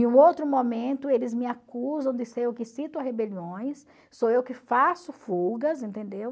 Em outro momento, eles me acusam de ser eu que a rebeliões, sou eu que faço fugas, entendeu?